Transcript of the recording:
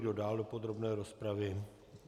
Kdo dál do podrobné rozpravy?